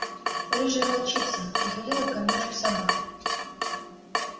рыжая волчица приходила к кормёжке собак